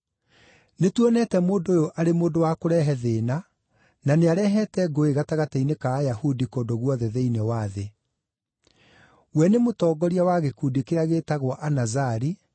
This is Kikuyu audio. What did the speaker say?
“Nĩtuonete mũndũ ũyũ arĩ mũndũ wa kũrehe thĩĩna, na nĩarehete ngũĩ gatagatĩ-inĩ ka Ayahudi kũndũ guothe thĩinĩ wa thĩ. We nĩ mũtongoria wa gĩkundi kĩrĩa gĩĩtagwo Anazari,